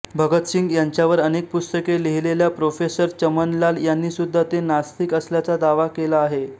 भगतसिंग यांच्यावर अनेक पुस्तके लिहिलेल्या प्रोफेसर चमनलाल यांनी सुद्धा ते नास्तिक असल्याचा दावा केला आहे